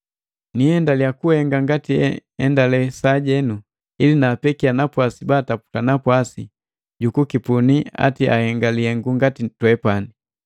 Niiendaliya kuhenga ngati enhenga sajenu, ili naampeke napwasi baataputa napwasi, jukukipuni ati ahenga lihengu ngati twepani.